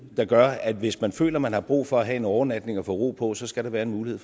der gør at hvis man føler man har brug for at have en overnatning og få ro på så skal der være en mulighed